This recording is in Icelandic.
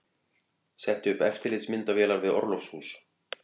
Setti upp eftirlitsmyndavélar við orlofshús